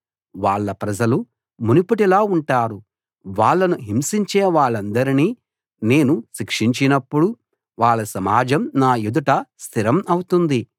వాళ్ళ ప్రజలు మునుపటిలా ఉంటారు వాళ్ళను హింసించే వాళ్ళందరినీ నేను శిక్షించినప్పుడు వాళ్ళ సమాజం నా ఎదుట స్థిరం అవుతుంది